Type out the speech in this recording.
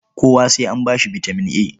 Kowa sai an ba shi bitaman A.